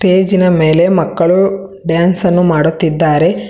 Stage ನ ಮೇಲೆ ಮಕ್ಕಳು ಡ್ಯಾನ್ಸ್ ಅನ್ನು ಮಾಡುತ್ತಿದ್ದಾರೆ.